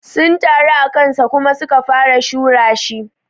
Sun taru akansa Kuma su ka fara shura shi.